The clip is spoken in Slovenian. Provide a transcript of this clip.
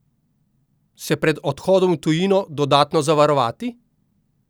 Se pred odhodom v tujino dodatno zavarovati?